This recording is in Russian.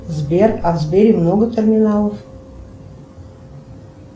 сбер а в сбере много терминалов